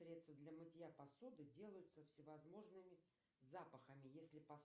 средства для мытья посуды делаются с всевозможными запахами если